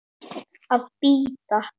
Að bíta.